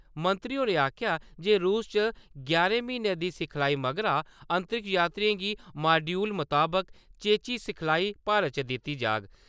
मंत्री होरें आखेआ जे रूस च यारें म्हीनें दी सिखलाई मगरा, अंतरिक्ष यात्रिएं गी माड्यूल मताबक चेची सिखलाई भारत च दित्ती जाह्ग।